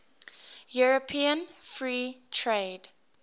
european free trade